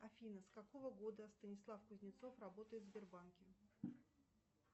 афина с какого года станислав кузнецов работает в сбербанке